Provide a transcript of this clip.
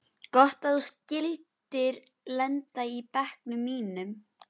Gott að þú skyldir lenda í bekknum mínum.